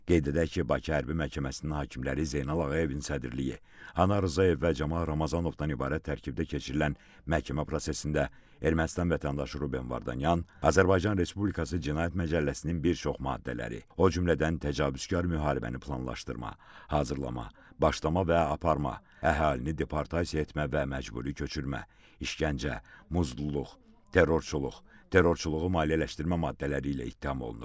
Qeyd edək ki, Bakı Hərbi Məhkəməsinin hakimləri Zeynal Ağayevin sədrliyi, Anar Rzayev və Camal Ramazanovdan ibarət tərkibdə keçirilən məhkəmə prosesində Ermənistan vətəndaşı Ruben Vardanyan Azərbaycan Respublikası Cinayət Məcəlləsinin bir çox maddələri, o cümlədən təcavüzkar müharibəni planlaşdırma, hazırlama, başlama və aparma, əhalini deportasiya etmə və məcburi köçürmə, işgəncə, muzdulluq, terrorçuluq, terrorçuluğu maliyyələşdirmə maddələri ilə ittiham olunur.